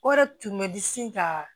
O de tun bɛ disi ka